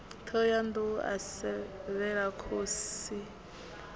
thohoyanḓ ou a sevhela khosi